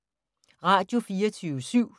Radio24syv